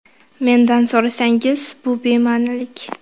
Mendan so‘rasangiz, bu bema’nilik.